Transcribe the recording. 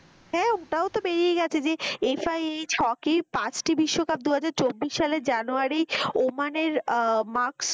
ওটাও তো বেরিয়ে গেছে যে হকি পাঁচটি বিশ্বকাপ দুহাজার চব্বিশ সালে জানুয়ারি ওমানের আহ ,